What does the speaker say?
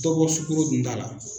Dɔ bɔ sukoro dunda la.